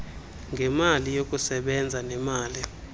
ngemali yokusebenza nemali